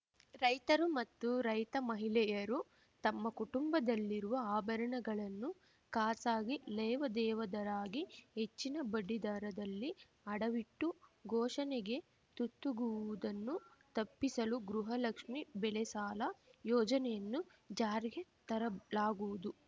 ರೈತರು ಮತ್ತು ರೈತಮಹಿಳೆಯರು ತಮ್ಮ ಕುಟುಂಬದಲ್ಲಿರುವ ಆಭರಣಗಳನ್ನು ಖಾಸಾಗಿ ಲೇವಾದೇವದರಾಗಿ ಹೆಚ್ಚಿನ ಬಡ್ಡಿದರದಲ್ಲಿ ಅಡವಿಟ್ಟು ಘೋಷಣೆಗೆ ತುತ್ತುಗುವುದನ್ನು ತಪ್ಪಿಸಲು ಗೃಹಲಕ್ಷ್ಮಿ ಬೆಳೆಸಾಲ ಯೋಜನೆಯನ್ನು ಜಾರಿಗೆ ತರಲಾಗುವುದು